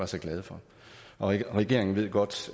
så glade for og regeringen ved godt